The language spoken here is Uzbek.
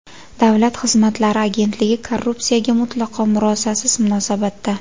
Davlat xizmatlari agentligi korrupsiyaga mutlaqo murosasiz munosabatda.